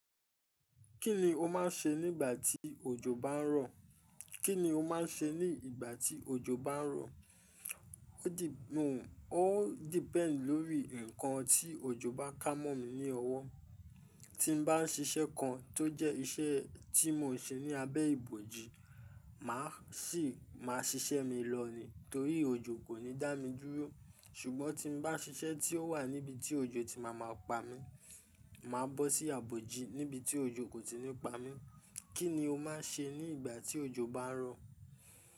Kí ni o máà ń ṣe nígbà tí òjò bá ń rọ̀? Kí ni o máà ń ṣe ní ìgbà tí òjò bá ń rọ̀? Ó di, ó depend lórí nǹkan tí òjò bá kámọ̀ mi ní ọwọ́. Tí mo bá ń ṣiṣẹ́ kan tó jẹ́ iṣẹ́ tí mò ń ṣe ní abẹ́ ìbòji, mà á ṣì máa ṣiṣẹ́ mi lọ ni torí òjò kò ní dá mi dúró. Ṣùgbọ́n tí mo bá ṣiṣẹ́ tí ó wà níbi tí òjò ti má máa pa mí, mà á bọ́ sí ibòji níbi tí òjò kò tí ì ní pa mí. Kí ni o máa ṣe ní ìgbà tí òjò bá ń rọ̀?